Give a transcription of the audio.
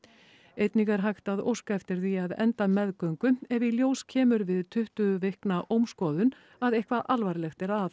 einnig er hægt að óska eftir því að enda meðgöngu ef í ljós kemur við tuttugu vikna ómskoðun að eitthvað alvarlegt er að